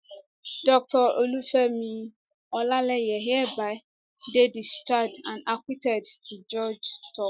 dr olufemi olaleye hereby dey discharged and acquitted di judge tok